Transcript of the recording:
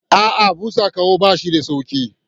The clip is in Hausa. A'a, busa ƙaho ba shi da sauƙi.